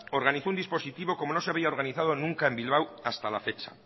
organizó un dispositivo como no se había organizado nunca en bilbao hasta la fecha